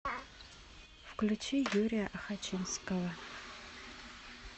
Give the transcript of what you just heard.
включи юрия охочинского